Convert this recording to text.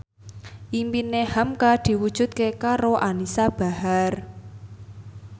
impine hamka diwujudke karo Anisa Bahar